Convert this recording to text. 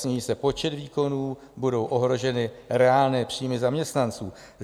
Sníží se počet výkonů, budou ohroženy reálné příjmy zaměstnanců.